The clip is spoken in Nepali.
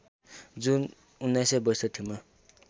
जुन १९६२ मा